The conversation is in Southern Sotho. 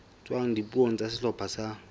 tswang dipuong tsa sehlopha sa